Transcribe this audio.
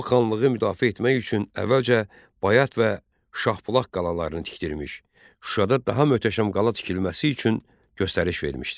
O xanlığı müdafiə etmək üçün əvvəlcə Bayat və Şahbulaq qalalarını tikdirmiş, Şuşada daha möhtəşəm qala tikilməsi üçün göstəriş vermişdi.